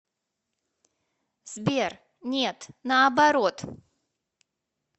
сбер нет наоборот